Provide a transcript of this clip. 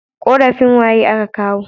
Korafin waye a ka kawo